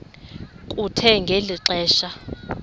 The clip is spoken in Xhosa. kuthe ngeli xesha